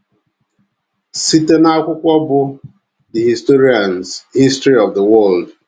Site n’akwụkwọ bụ́ The Historian’s History of the World